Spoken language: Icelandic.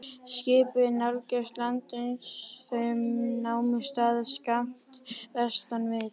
Skipin nálguðust land, uns þau námu staðar skammt vestan við